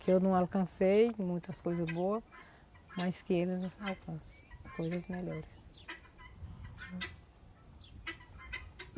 Que eu não alcancei muitas coisas boas, mas que eles alcancem coisas melhores.